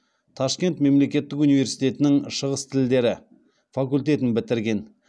ташкент мемлекеттік университетінің шығыс тілдері факультетін бітірген